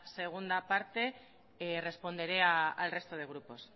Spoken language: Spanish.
segunda parte responderé al resto de grupos